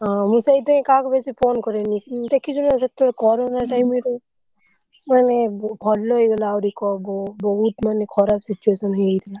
ହଁ ମୁଁ ସେଇଥିପଇଁ କାହାକୁ ବେଶୀ phone କରେନି